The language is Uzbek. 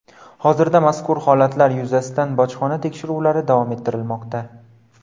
Hozirda mazkur holatlar yuzasidan bojxona tekshiruvlari davom ettirilmoqda.